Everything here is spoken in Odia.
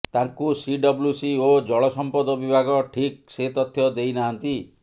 ତାଙ୍କୁ ସିଡବ୍ଲୁସି ଓ ଜଳସମ୍ପଦ ବିଭାଗ ଠିକ ସେ ତଥ୍ୟ ଦେଇନାହାନ୍ତି